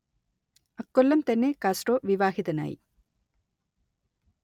അക്കൊല്ലം തന്നെ കാസ്ട്രോ വിവാഹിതനായി